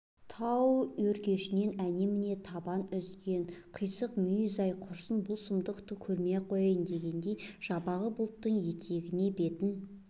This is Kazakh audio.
тау өркешінен әне-міне табан үзген қисық мүйіз ай құрсын бұл сұмдықты көрмей-ақ қояйын дегендей жабағы бұлттың етегіне бетін